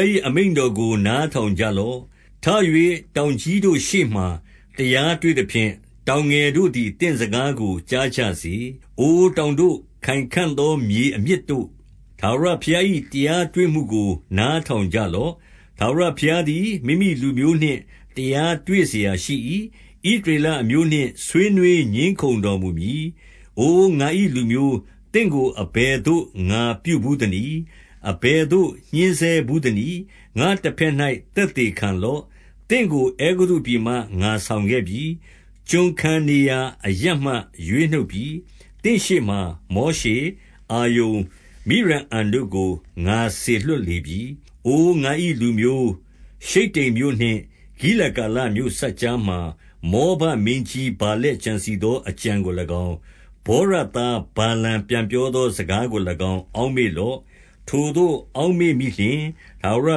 ား၏အမိန့်တော်ကို နားထောင်ကြ လော့။ ထ၍ တောင်ကြီးတို့ရှေ့မှာ တရားတွေ့သဖြင့်၊ တောင်ငယ်တို့သည် သင့်စကားကို ကြားကြစေ။ အိုတောင်တို့၊ ခိုင်ခံ့သောမြေအမြစ်တို့၊ ထာဝရ ဘုရား၏တရားတွေ့မှုကို နားထောင်ကြလော့။ ထာဝရ ဘုရားသည် မိမိလူမျိုးနှင့် တရားတွေ့စရာရှိ၏။ ဣသရေ လအမျိုးနှင့် ဆွေးနွေးငြင်းခုံတော်မူမည်။ အို ငါ၏လူမျိုး၊ သင့်ကို အဘယ်သို့ ငါပြုဘူး သနည်း။ အဘယ်သို့ ညှဉ်းဆဲဘူးသနည်း။ ငါ့တဘက်၌ သက်သေခံလော့။ သင့်ကို အဲဂုတ္တုပြည်မှ ငါဆောင်ခဲ့ပြီ။ ကျွန်ခံ နေရာအရပ်မှ ရွေးနှုတ်ပြီ။ သင့်ရှေ့မှာ မောရှေ၊ အာရုန်၊ မိရိအံတို့ကို ငါစေလွှတ်လေပြီ။ အို ငါ၏လူမျိုး၊ ရှိတ္တိမ်မြို့နှင့် ဂိလဂါလမြို့ စပ်ကြားမှာ မောဘမင်းကြီး ဗာလက်ကြံစည်သော အကြံ ကို၎င်း၊ ဗောရသား ဗာလမ်ပြန်ပြောသောစကားကို၎င်း အောက်မေ့လော့။ ထိုသို့ အောက်မေ့မိလျှင်၊ ထာဝရ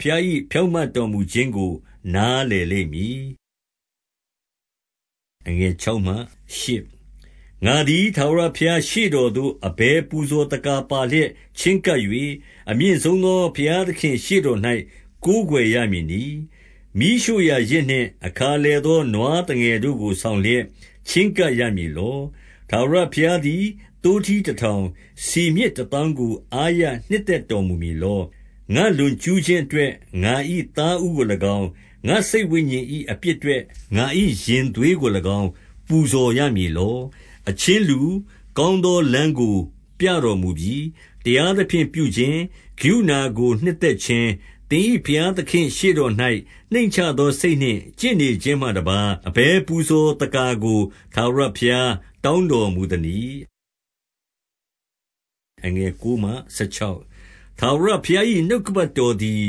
ဘုရား၏ ဖြောင့်မတ်တော်မူခြင်းကို နားလည်လိမ့်မည်။ ငါသည် ထာဝရဘုရားရှေ့တော်သို့ အဘယ် ပူဇော်သက္ကာပါလျက် ချဉ်းကပ်၍၊ အမြင့်ဆုံးသော ဘုရား သခင့်ရှေ့တော်၌ ကိုးကွယ်ရမည်နည်း။ မီးရှို့ရာယဇ်နှင့် အခါလည်သော နွားသငယ်တို့ကို ဆောင်လျက် ချဉ်းကပ် ရမည်လော။ ထာဝရဘုရားသည် သိုးထီးတထောင်၊ ဆီမြစ် တသောင်းကို အားရနှစ်သက်တော်မူမည်လော။ ငါ့လွန် ကျူးခြင်းအတွက် ငါ၏သားဦးကို၎င်း၊ ငါ့စိတ်ဝိညာဉ်၏ အပြစ်အတွက် ငါ၏ရင်သွေးကို၎င်း ပူဇော်ရမည်လော၊ အချင်းလူ၊ ကောင်းသောလမ်းကို ပြတော်မူပြီ။ တရားသဖြင့် ပြုခြင်း၊ ကရုဏာကို နှစ်သက်ခြင်း၊ သင်၏ ဘုရားသခင့်ရှေ့တော်၌ နှိမ့်ချသော စိတ်နှင့် ကျင့်နေခြင်း မှတပါး အဘယ်ပူဇော်သက္ကာကို ထာဝရဘုရားတောင်း တော်မူသနည်း။ ထာဝရဘုရား၏နှုတ်ကပတ်တော်သည်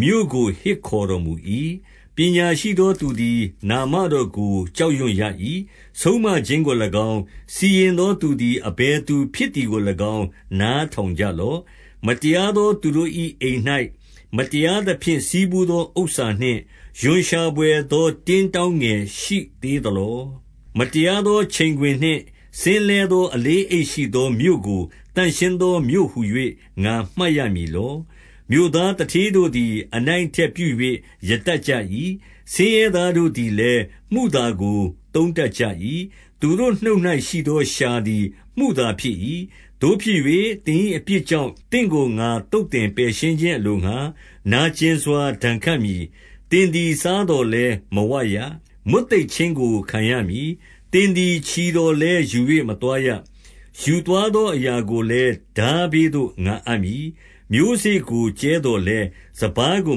မြို့ကို ဟစ်ခေါ်တော်မူ၏။ ပညာရှိသော သူသည် နာမတော်ကို ကြောက်ရွံ့ရ၏။ ဆုံးမခြင်းကို၎င်း၊ စီရင်သောသူသည် အဘယ်သူဖြစ်သည်ကို၎င်း နားထောင်ကြလော့။ မတရားသော သူတို့၏အိမ်၌ မတရားသဖြင့် ဆည်းဖူးသော ဥစ္စာနှင့်၊ ရွံရှာဘွယ်သော တင်းတောင်း ငယ်ရှိသေးသလော။ မတရားသော ချိန်ခွင်နှင့် စဉ်းလဲသော အလေး အိတ်ရှိသော မြို့ကိုသန့်ရှင်းသော မြို့ဟူ၍ ငါမှတ်ရမည် လော။ မြို့သားသူဌေးတို့သည် အနိုင်အထက်ပြု၍ ရတတ်ကြ၏။ ဆင်းရဲသားတို့သည်လည်း မုသာကို သုံး တတ်ကြ၏။ သူတို့နှုတ်၌ ရှိသောလျှာသည် မုသာဖြစ်၏။ သို့ဖြစ်၍၊ သင်၏အပြစ်ကြောင့် သင့်ကိုငါ သုတ် သင်ပယ်ရှင်းခြင်းအလိုငှါ နာကျင်စွာ ဒဏ်ခတ်မည်။ သင်သည် စားသော်လည်းမဝရ။ မွတ်သိပ်ခြင်း ကို ခံရမည်။ သင်သည် ချီသော်လည်းယူ၍ မသွားရ။ ယူသွားသော အရာကိုလည်း ထားဘေးသို့ ငါအပ်မည်။ မျိုးစေ့ကို ကြဲသော်လည်း၊ စပါးကို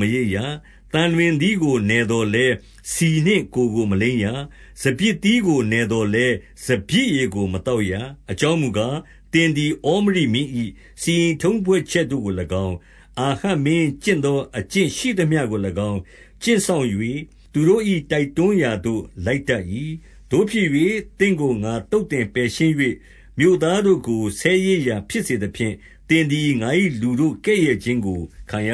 မရိတ်ရ။ သံလွင်သီးကို နယ်သော်လည်း၊ ဆီနှင့်ကိုယ်ကိုမလိမ်းရ။ စပျစ်သီးကို နယ်သော်လည်း၊ စပျစ်ရည်ကို မသောက်ရ။ အကြောင်းမူကား၊ သင်သည် ဩမရိမင်း၏ စီရင်ထုံးဖွဲ့ချက်တို့ကို၎င်း၊ အာဟပ်မင်းမျိုး ကျင့်သော အကျင့်ရှိသမျှကို၎င်း ကျင့်စောင့်၍၊ သူတို့၏ တိုက်တွန်း ရာသို့ လိုက်တတ်၏။ သို့ဖြစ်၍၊ သင့်ကို ငါ သုတ်သင် ပယ်ရှင်း၍ မြို့သားတို့ကို ဆဲရေးရာဖြစ်စေသဖြင့်၊ သင် သည် ငါ၏လူတို့ကဲ့ရဲ့ခြင်းကို ခံရ